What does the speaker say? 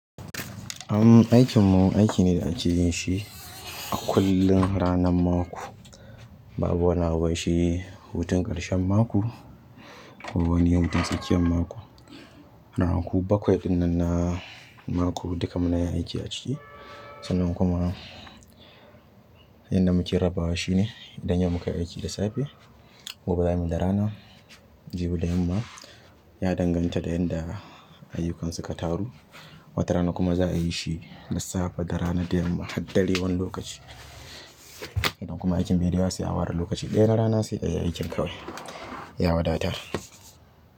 Am aikinmu aiki ne da a ke yin shi a kullum ranar mako, babu wanda a bai wa shi hutun ƙarshen mako ko wani hutun tsakiyar mako. Ranaku bakwai ɗin nan na mako duk da mu na yin aiki a ciki, sannan kuma yadda mu ke raba wa shi ne idan yau muka yi aiki da safe, gobe za mu da rana. Jibi da yamma ya danganta da yadda ayyukan suka taru. Wata rana kuma za a yi shi da safe da rana da yamma har dare wani lokaci. Idan kuma aikin dare za su yi a ware lokaci ɗaya na rana su yi aikin kawai ya wadata.